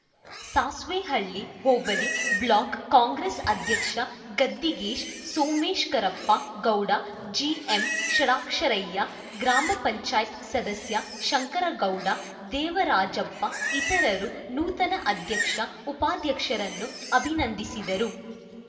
Sasvehalli hobli block Congress ಅಧ್ಯಕ್ಷ Gaddigesh Somashekarappa Gowda GM Shadaksharayya ಗ್ರಾಮ ಪಂಚಾಯತ್ ಸದಸ್ಯ ಶಂಕರಗೌಡ ದೇವರಾಜಪ್ಪ ಇತರರು ನೂತನ ಅಧ್ಯಕ್ಷ ಉಪಾಧ್ಯಕ್ಷರನ್ನು ಅಭಿನಂದಿಸಿದರು